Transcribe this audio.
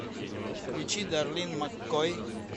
включи дарлин маккой